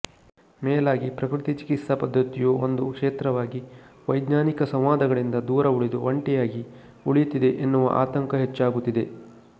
ಮೇಲಾಗಿ ಪ್ರಕೃತಿಚಿಕಿತ್ಸಾ ಪದ್ಧತಿಯು ಒಂದು ಕ್ಷೇತ್ರವಾಗಿ ವೈಜ್ಙಾನಿಕ ಸಂವಾದಗಳಿಂದ ದೂರ ಉಳಿದು ಒಂಟಿಯಾಗಿ ಉಳಿಯುತ್ತಿದೆ ಎನ್ನುವ ಆತಂಕ ಹೆಚ್ಚಾಗುತ್ತಿದೆ